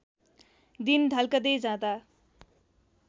दिन ढल्कँदै जाँदा